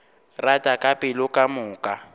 rata ka pelo ka moka